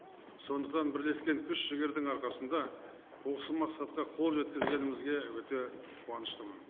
сондықтан бірлескен күш жігердің арқасында осы мақсатқа қол жеткізгенімізге өте қуаныштымын